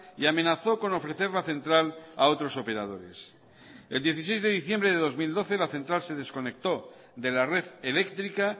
y amenazó con ofrecer la central a otros operadores el dieciséis de diciembre del dos mil doce la central se desconectó de la red eléctrica